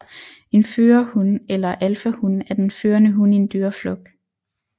En førerhun eller alfahun er den førende hun i en dyreflok